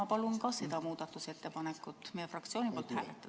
Ma palun ka seda muudatusettepanekut meie fraktsiooni palvel hääletada.